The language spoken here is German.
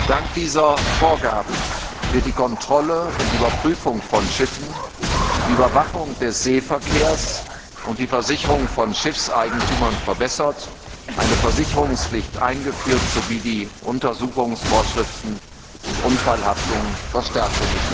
Dank dieser Vorgaben werden die Kontrolle und Überprüfung von Schiffen, die Überwachung des Seeverkehrs und die Versicherung von Schiffseigentümern verbessert, eine Versicherungspflicht eingeführt sowie die Untersuchungsvorschriften und die Haftung bei Unfällen verstärkt.